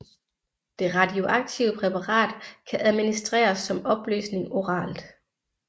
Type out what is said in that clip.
Det radioaktive præparat kan administreres som opløsning oralt